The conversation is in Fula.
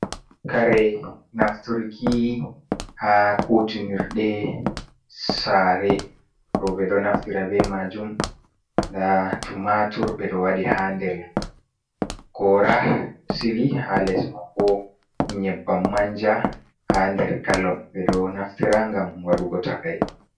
Kare nafturki ha kutinirde sare, ɗo ɓeɗo naftira be majum nda tumatur ɓeɗo waɗi ha nder gora sili ha les maibo nyebbam manja ha nder gallon, ɓeɗo naftira gam waɗugo takai.